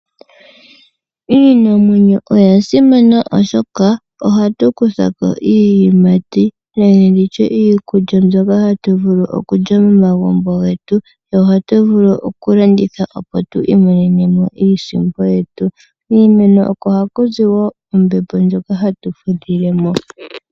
Iimeno oya simana oshoka ohatu kutha ko iiyimati nenge nditye iikulya mbyoka hatu vulu okulya momagumbo getu, yo ohatu vulu oku landitha opo tu imonene mo iisimpo yetu. Kiimeno oko haku zi ombepo ndjoka hatu fudhile mo.